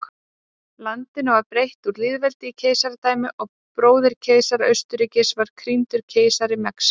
Landinu var breytt úr lýðveldi í keisaradæmi og bróðir keisara Austurríkis var krýndur keisari Mexíkó.